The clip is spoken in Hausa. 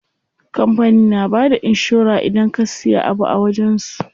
Kampanin na bada inshora idan ka siya abu a wajen su.